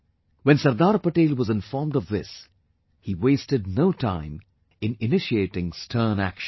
When Sardar Patel was informed of this, he wasted no time in initiating stern action